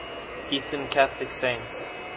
eastern catholic saints